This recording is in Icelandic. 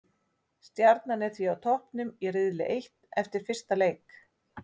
Stjarnan er því á toppnum í riðli eitt eftir fyrsta leik.